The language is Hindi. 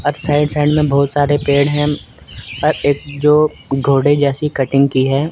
अब साइड साइड में बहुत सारे पेड़ हैं और एक जो घोड़े जैसी कटिंग की है।